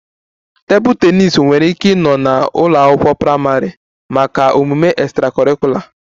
A table tennis nwere ike ịnọ na a ụlọ akwụkwọ praịmarị maka extracurricular omume